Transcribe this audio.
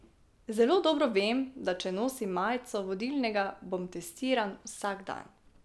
Zelo dobro vem, da če nosim majico vodilnega, bom testiran vsak dan.